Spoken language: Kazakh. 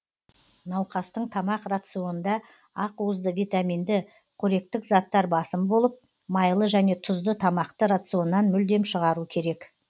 науқастың тамақ рационында ақуызды витаминді қоректік заттар басым болып майлы және тұзды тамақты рационнан мүлдем шығару керек